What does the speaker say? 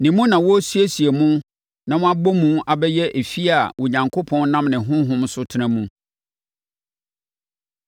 Ne mu na wɔresiesie mo na mo abɔ mu abɛyɛ efie a Onyankopɔn nam ne Honhom so tena mu.